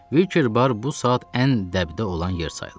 Wicker Bar bu saat ən dəbdə olan yer sayılır.